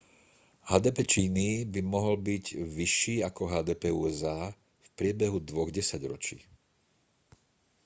hdp číny by mohol byť vyšší ako hdp usa v priebehu dvoch desaťročí